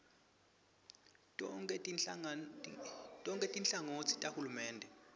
tonkhe tinhlangotsi tahulumende